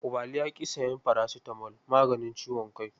Ubali ya ƙi sayan farasitamol, maganin ciwon kai.